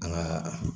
An ka